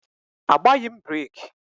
Agbaghị m breeki